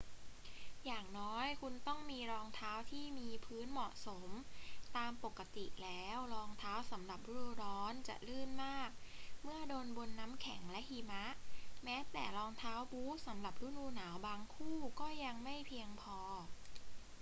อย่างน้อยคุณต้องมีรองเท้าที่มีพื้นเหมาะสม ตามปกติแล้ว รองเท้าสำหรับฤดูร้อนจะลื่นมากเมื่อเดินบนน้ำแข็งและหิมะ แม้แต่รองเท้าบู๊ตสำหรับฤดูหนาวบางคู่ก็ยังไม่เพียงพอ